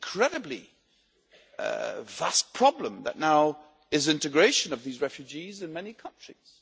An incredibly vast problem is now the integration of these refugees in many countries.